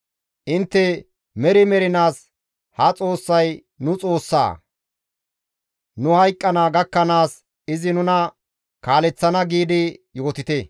Intte, «Meri mernaas ha Xoossay nu Xoossa; nu hayqqana gakkanaas izi nuna kaaleththana» giidi yootite.